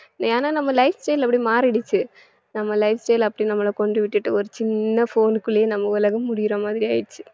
ஏன்னா நம்ம lifestyle அப்படி மாறிடுச்சு நம்ம lifestyle அப்படி நம்மள கொண்டு விட்டுட்டு ஒரு சின்ன phone க்குள்ளயே நம்ம உலகம் முடியிற மாதிரி ஆயிடுச்சு